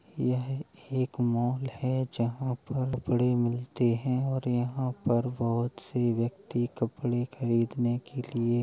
यह एक मॉल है जहाँ पर कपड़े मिलते हैं और यहाँ पर बहुत से व्यक्ति कपड़े खरीदने के लिए --